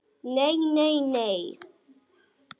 Nei, nei nei.